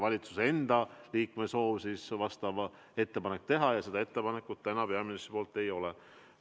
Valitsuse liikmel tuleb endal selleks soovi avaldada ja ka vastav ettepanek teha, aga praegu meil peaministrilt seda ettepanekut tulnud ei ole.